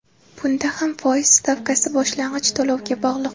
Bunda ham foiz stavkasi boshlang‘ich to‘lovga bog‘liq.